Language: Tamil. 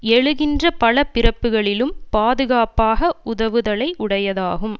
எழுகின்ற பல பிறப்புக்களிலும் பாதுகாப்பாக உதவுதலை உடையதாகும்